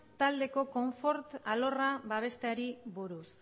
taldeko konfort alorra babesteari buruz